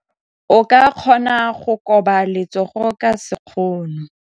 O ka kgona go koba letsogo ka sekgono.